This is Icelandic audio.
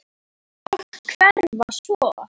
Og hverfa svo.